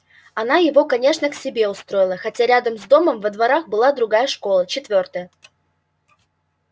она его конечно к себе устроила хотя рядом с домом во дворах была другая школа четвёртая